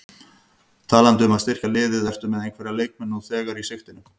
Talandi um að styrkja liðið, ertu með einhverja leikmenn nú þegar í sigtinu?